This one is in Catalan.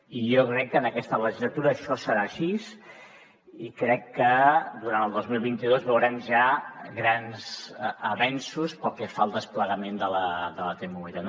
i jo crec que en aquesta legislatura això serà així i crec que durant el dos mil vint dos veurem ja grans avenços pel que fa al desplegament de la t mobilitat